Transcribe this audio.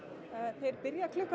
þeir byrja klukkan